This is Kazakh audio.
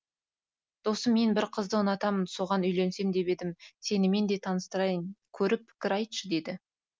досым мен бір қызды ұнатамын соған үйленсем деп едім сенімен де таныстырайын көріп пікір айтшы деді